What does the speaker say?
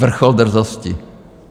Vrchol drzosti!